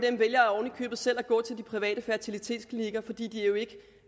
købet selv vælger at gå til de private fertilitetsklinikker fordi de ikke